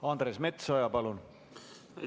Andres Metsoja, palun!